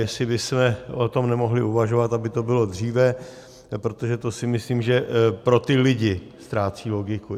Jestli bychom o tom nemohli uvažovat, aby to bylo dříve, protože to si myslím, že pro ty lidi ztrácí logiku.